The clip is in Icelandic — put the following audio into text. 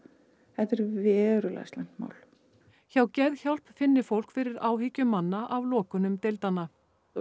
þetta er verulega slæmt mál hjá Geðhjálp finni fólk fyrir áhyggjum manna af lokunum deildanna og